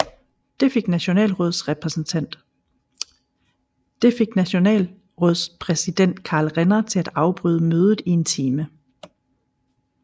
Det fik Nationalrådspræsident Karl Renner til at afbryde mødet i en time